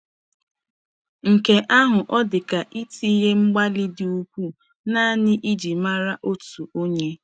Nke ahụ ò dịka itinye mgbalị dị ukwuu nanị iji mara otu Onye?